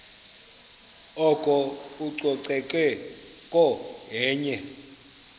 oko ucoceko yenye